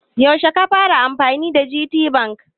Yaushe ka fara amfani da GTBank?